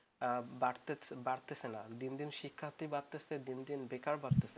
বাড়তেছে না দিন দিন শিক্ষার্থী বাড়তেছে দিন দিন বেকার বাড়তেছে